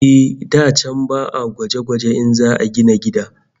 Eh, da can ba'a gwaje-gwaje in za'a gina gida